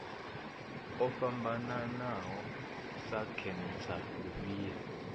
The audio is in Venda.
o fhambanaho sa khentsa lufhia